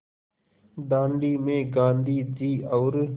दाँडी में गाँधी जी और